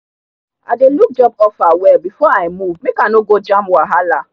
i dey look job offer well before i move make i no go jam wahala.